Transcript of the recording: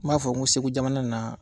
N b'a fɔ ko Segu jamana na